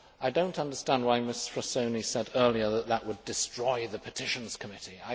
I do not understand why Ms Frassoni said earlier that would destroy the Petitions Committee.